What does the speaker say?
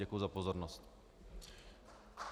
Děkuji za pozornost.